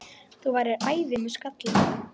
Þú værir æði með skalla!